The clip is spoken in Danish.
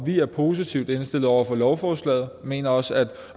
vi er positivt indstillet over for lovforslaget vi mener også at